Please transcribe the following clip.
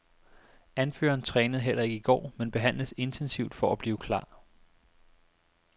Anføreren trænede heller ikke i går, men behandles intensivt for at blive klar.